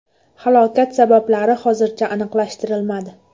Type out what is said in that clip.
Halokat sabablari hozircha aniqlashtirilmadi.